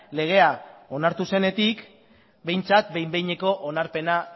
legea onartu zenetik behintzat behin behineko onarpena